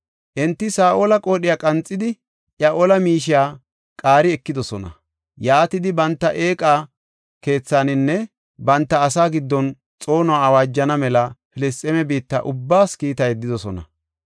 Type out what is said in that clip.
Enti Saa7ola qoodhiya qanxidi iya ola miishiya qaari ekidosona. Yaatidi banta eeqa keethaninne banta asaa giddon xoonuwa awaajana mela Filisxeeme biitta ubbaas kiita yeddidosona.